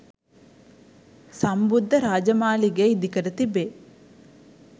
සම්බුද්ධ රාජමාලිගය ඉදිකර තිබේ